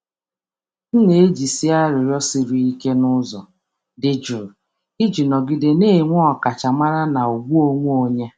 M na-ejizi arịrịọ siri um ike n’ụzọ dị jụụ iji nọgide na-enwe ọkachamara na ugwu onwe onye.